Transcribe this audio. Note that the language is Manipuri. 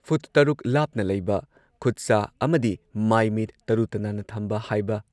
ꯐꯨꯠ ꯇꯔꯨꯛ ꯂꯥꯞꯅ ꯂꯩꯕ, ꯈꯨꯠ-ꯁꯥ ꯑꯃꯗꯤ ꯃꯥꯏ ꯃꯤꯠ ꯇꯔꯨ ꯇꯅꯥꯟꯅ ꯊꯝꯕ ꯍꯥꯢꯕ